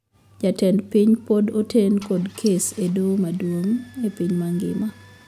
Jatend piny pod oten kod kes e doho madung` e piny mangima